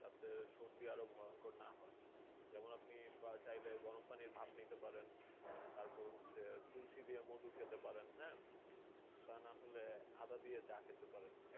তাতে সর্দি আরও ভয়ঙ্কর না হয়? যেমন আপনি চাইলে গরম পানির ভাপ নিতে পারেন। তারপর হচ্ছে তুলসী দিয়ে মধু খেতে পারেন, হ্যাঁ? তা না হলে আদা দিয়ে চা খেতে পারেন।